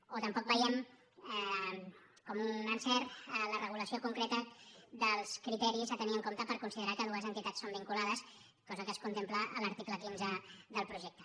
o tampoc veiem com un encert la regulació concreta dels criteris a tenir en compte per considerar que dues entitats són vinculades cosa que es contempla a l’article quinze del projecte